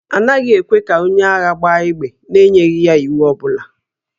A naghị ekwe ka onye agha gbaa égbè n'enyeghị ya iwu ọ bụla